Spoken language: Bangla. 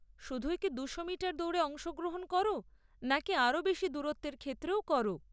শুধুই কি দুশো মিটার দৌড়ে অংশগ্রহণ করো নাকি আরও বেশি দূরত্বের ক্ষেত্রেও করো?